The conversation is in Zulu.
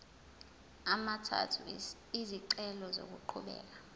amathathu izicelo zokuqhubeka